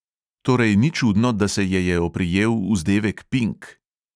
Torej ni čudno, da se je je oprijel vzdevek pink.